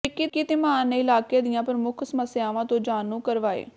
ਵਿੱਕੀ ਧੀਮਾਨ ਨੇ ਇਲਾਕੇ ਦੀਆਂ ਪ੍ਰਮੁੱਖ ਸਮੱਸਿਆਵਾਂ ਤੋਂ ਜਾਣੂ ਕਰਵਾਇਅ